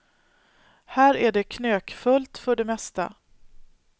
Här är det knökfullt för det mesta.